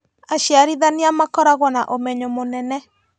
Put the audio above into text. aciarithania makoragwo na ũmenyo mũnene